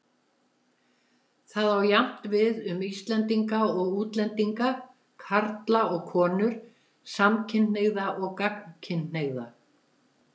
Það á jafnt við um Íslendinga og útlendinga, karla og konur, samkynhneigða og gagnkynhneigða.